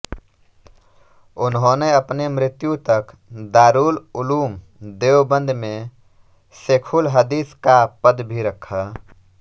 उन्होंने अपनी मृत्यु तक दारुल उलूम देवबंद में शेखुल हदीस का पद भी रखा